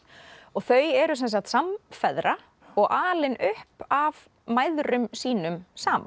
þau eru sem sagt samfeðra og alin upp af mæðrum sínum saman